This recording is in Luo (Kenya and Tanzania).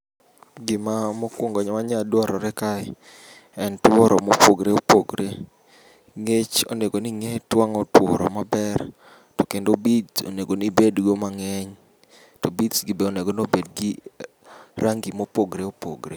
Gima mokwongo manyadwarore kae en tworo mopogre opogre. Ngech onego ning'e twang'o tworo maber, to kendo beads onego nibedgo mang'eny. To beads gi be onego nobedgi rangi mopogre opogre.